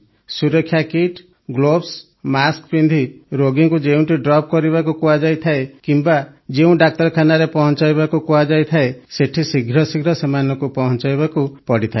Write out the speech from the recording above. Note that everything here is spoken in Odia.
ସୁରକ୍ଷାକିଟ୍ ଗ୍ଲୋଭ୍ସ ମାସ୍କ ପିନ୍ଧି ରୋଗୀଙ୍କୁ ଯେଉଁଠି ଡ୍ରପ୍ କରିବାକୁ କୁହାଯାଇଥାଏ କିମ୍ବା ଯେଉଁ ଡାକ୍ତରଖାନାରେ ପହଂଚାଇବାକୁ କୁହାଯାଇଥାଏ ସେଠି ଶୀଘ୍ର ଶୀଘ୍ର ସେମାନଙ୍କୁ ପହଂଚାଇବାକୁ ପଡିଥାଏ